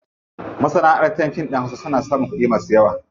Masanaʼantar fim ɗin hausa suna samun kuɗi masu yawa.